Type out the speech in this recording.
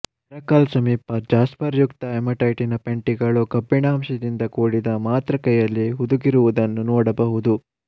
ಹೆರಕಲ್ ಸಮೀಪ ಜಾಸ್ಪರ್ಯುಕ್ತ ಹಿಮಟೈಟಿನ ಪೆಂಟಿಗಳು ಕಬ್ಬಿಣಾಂಶದಿಂದ ಕೂಡಿದ ಮಾತೃಕೆಯಲ್ಲಿ ಹುದುಗಿರುವುದನ್ನು ನೋಡಬಹುದು